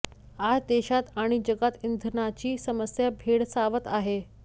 आज देशात आणि जगात इंधनाची समस्या भेडसावत आहे